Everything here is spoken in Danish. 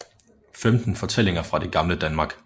Femten fortællinger fra det gamle Danmark